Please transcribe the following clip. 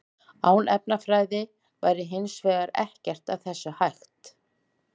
Án efnafræði væri hins vegar ekkert af þessu hægt.